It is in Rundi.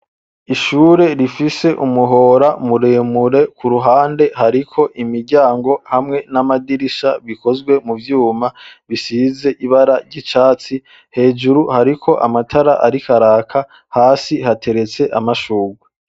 Ishure rifise umuhora muremure ku ruhande hariko imiryango hamwe n'amadirisha bikozwe mu vyuma bisize ibara ry'icatsi hejuru hari ko amatara arikaraka hasi hateretse amashungwe.